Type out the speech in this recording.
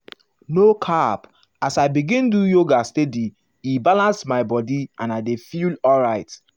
no cap as i begin do yoga steady e balance my body and i dey feel alright.